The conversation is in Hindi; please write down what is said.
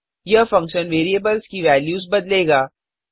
यह फंक्शन वेरिएबल्स की वेल्यूस बदलेगा